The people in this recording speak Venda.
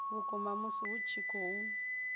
vhukuma musi hu tshi khou